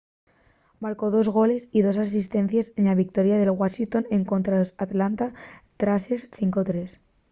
marcó dos goles y dos asistencies na victoria en washington escontra los atlanta thrashers 5-3